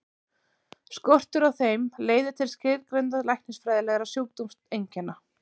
Skortur á þeim leiðir til skilgreindra læknisfræðilegra sjúkdómseinkenna.